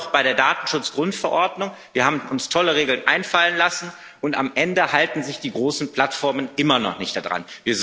Das sehen wir doch bei der Datenschutzgrundverordnung Wir haben uns tolle Regeln einfallen lassen, und am Ende halten sich die großen Plattformen immer noch nicht daran.